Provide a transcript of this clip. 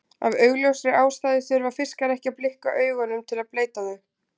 Af augljósri ástæðu þurfa fiskar ekki að blikka augunum til að bleyta þau.